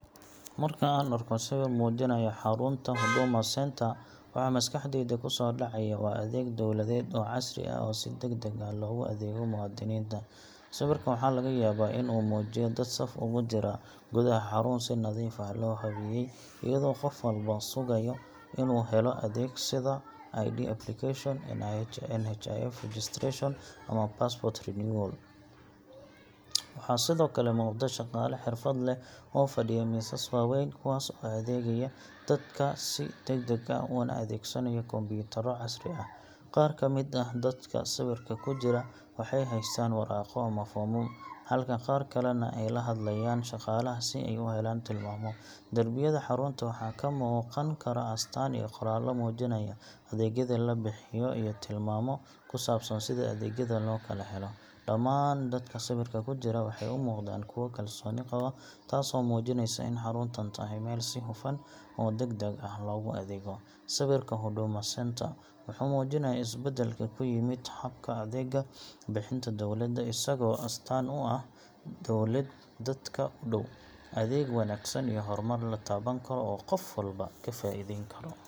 Marka aan arko sawir muujinaya xarunta Huduma Centre, waxa maskaxdayda kusoo dhacaya waa adeeg dawladeed oo casri ah oo si degdeg ah loogu adeego muwaadiniinta. Sawirka waxaa laga yaabaa in uu muujiyo dad saf ugu jira gudaha xarun si nadiif ah loo habeeyey, iyadoo qof walba sugayo inuu helo adeeg sida ID application, NHIF registration, ama passport renewal. Waxaa sidoo kale muuqda shaqaale xirfad leh oo fadhiyo miisas waaweyn, kuwaas oo adeegaya dadka si degdeg ah una adeegsanaya kombiyuutarro casri ah. Qaar ka mid ah dadka sawirka ku jira waxay haystaan waraaqo ama foomam, halka qaar kalena ay la hadlayaan shaqaalaha si ay u helaan tilmaamo. Darbiyada xarunta waxaa ka muuqan kara astaan iyo qoraallo muujinaya adeegyada la bixiyo iyo tilmaamo ku saabsan sida adeegyada loo kala helo. Dhammaan dadka sawirka ku jira waxay u muuqdaan kuwo kalsooni qaba, taasoo muujinaysa in xaruntan tahay meel si hufan oo degdeg ah loogu adeego. Sawirka Huduma Centre wuxuu muujinayaa is-beddelka ku yimid habka adeeg bixinta dowladda, isagoo astaan u ah dowlad dadka u dhow, adeeg wanaagsan, iyo horumar la taaban karo oo qof walba ka faa’iideyn karo.